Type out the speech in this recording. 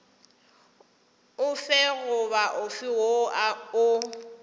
ofe goba ofe woo o